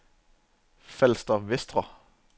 Falster Vestre